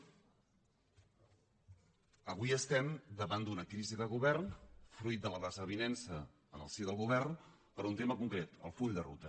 avui estem davant d’una crisi de govern fruit de la desavinença en el si del govern per un tema concret el full de ruta